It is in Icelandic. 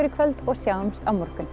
í kvöld og sjáumst á morgun